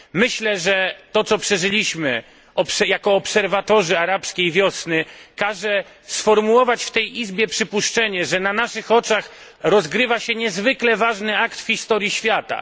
Myślę, że to, co przeżyliśmy jako obserwatorzy arabskiej wiosny, każe sformułować w tej izbie przypuszczenie, że na naszych oczach rozgrywa się niezwykle ważny akt w historii świata.